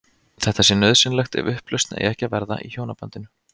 Þetta sé nauðsynlegt ef upplausn eigi ekki að verða í hjónabandinu.